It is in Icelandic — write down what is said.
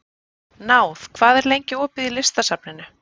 Náð, hvað er lengi opið í Listasafninu?